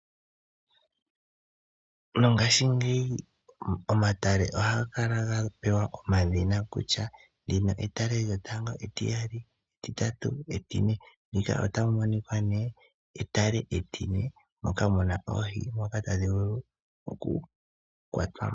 Mongashingeyi omatale ohaga kala ga pewa omadhina kutya ndino etale lyotango, etiyali, etitatu, etine. Ndika etale etine, moka mu na oohi ndhoka tadhi vulu okukwatwa mo.